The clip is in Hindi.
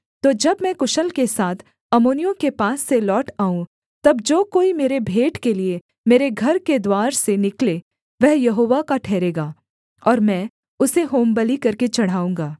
तो जब मैं कुशल के साथ अम्मोनियों के पास से लौट आऊँ तब जो कोई मेरे भेंट के लिये मेरे घर के द्वार से निकले वह यहोवा का ठहरेगा और मैं उसे होमबलि करके चढ़ाऊँगा